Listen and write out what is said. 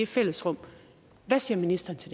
fællesrummet hvad siger ministeren til